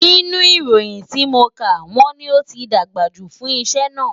Nínú ìròyìn tí mo kà, wọ́n ní ó ti dàgbà jù fún iṣẹ́ náà